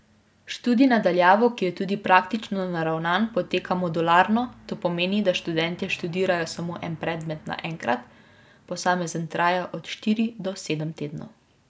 Študij na daljavo, ki je tudi praktično naravnan, poteka modularno, to pomeni, da študentje študirajo samo en predmet naenkrat, posamezen traja od štiri do sedem tednov.